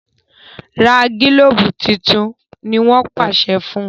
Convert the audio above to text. ra gilobu títún! ní wón pàṣẹ fún.